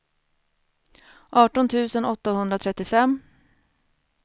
arton tusen åttahundratrettiofem